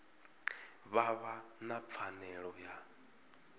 vha vha na pfanelo ya